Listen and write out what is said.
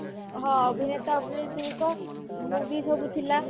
ହଁ ଅଭିନେତା ଅଭିନେତ୍ରୀଙ୍କ movie ସବୁ ଥିଲା